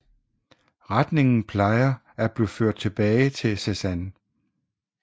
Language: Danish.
Retningen plejer at blive ført tilbage til Cézanne